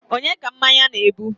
onye ka mmanya na-egbu?